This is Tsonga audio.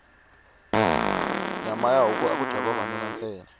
nyama ya huku aku dya vavanuna ntsena